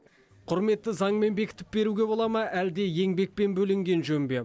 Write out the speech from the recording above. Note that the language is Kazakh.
құрметті заңмен бекітіп беруге бола ма әлде еңбекпен бөленген жөн бе